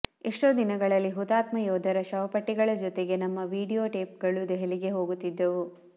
ಎಷ್ಟೋ ದಿನಗಳಲ್ಲಿ ಹುತಾತ್ಮ ಯೋಧರ ಶವಪೆಟ್ಟಿಗಳ ಜೊತೆಗೇ ನಮ್ಮ ವಿಡಿಯೊ ಟೇಪ್ಗಳೂ ದೆಹಲಿಗೆ ಹೋಗುತ್ತಿದ್ದವು